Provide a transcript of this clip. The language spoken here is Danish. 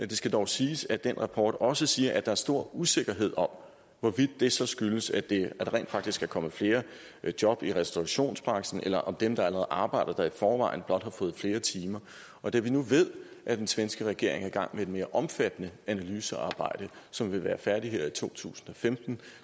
det skal dog siges at den rapport også siger at der er stor usikkerhed om hvorvidt det så skyldes at der rent faktisk er kommet flere job i restaurationsbranchen eller om dem der allerede arbejder der i forvejen blot har fået flere timer og da vi nu ved at den svenske regering er i gang med et mere omfattende analysearbejde som vil være færdigt her i to tusind og femten